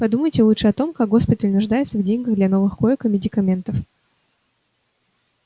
подумайте лучше о том как госпиталь нуждается в деньгах для новых коек и медикаментов